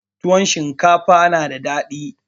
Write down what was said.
Tuwon shinkafa na da dadi.